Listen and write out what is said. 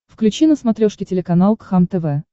включи на смотрешке телеканал кхлм тв